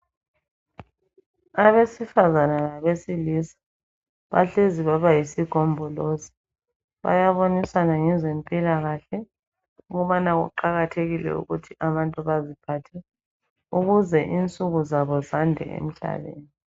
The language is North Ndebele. Abesifazane labesilisa, bahlezi baba yisigombolozi. Bayabonisana ngezempilakahle, ukuthi kuqakathekile ukuthi abantu baziphathe. Ukuze insuku zabo zande emhlabeni.